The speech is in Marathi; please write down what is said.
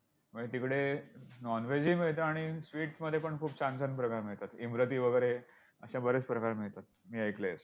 म्हणजे तिकडे non veg ही मिळतं आणि sweet मध्ये खूप छान छान प्रकार मिळतात. इमरती वगैरे असे बरेच प्रकार मिळतात मी ऐकलंय इथे.